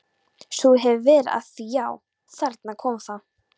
Svo þú hefur verið að því já, þarna kom það.